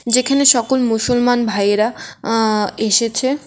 যেখানে সকল মুসলমান ভাইয়েরা আ এসেছে।